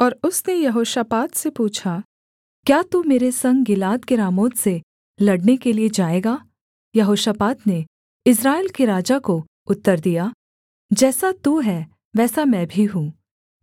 और उसने यहोशापात से पूछा क्या तू मेरे संग गिलाद के रामोत से लड़ने के लिये जाएगा यहोशापात ने इस्राएल के राजा को उत्तर दिया जैसा तू है वैसा मैं भी हूँ